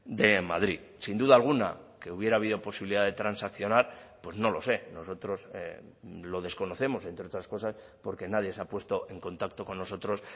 de madrid sin duda alguna que hubiera habido posibilidad de transaccionar pues no lo sé nosotros lo desconocemos entre otras cosas porque nadie se ha puesto en contacto con nosotros